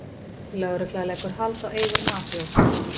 Lögregla leggur hald á eigur mafíósa